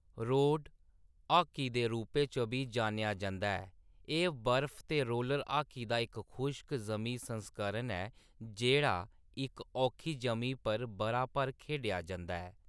Road hockey दे रूपै च बी जानेआ जंदा ऐ, एह्‌‌ बर्फ ते रोलर हाकी दा इक खुश्क-जमीं संस्करण ऐ जेह्‌‌ड़ा इक औखी जमीं पर बʼरा भर खेढेआ जंदा ऐ।